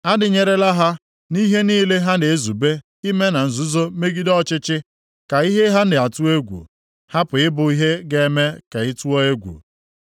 “Adịnyerela ha nʼihe niile ha na-ezube ime na nzuzo megide ọchịchị; ka ihe ha na-atụ egwu hapụ ịbụ ihe ga-eme ka ị tụọ egwu. + 8:12 Mgbe ndị Juda nụrụ ihe banyere njikọta aka dị nʼetiti ndị Izrel na Siria, nʼihi ibuso ha agha, oke egwu tụrụ ha.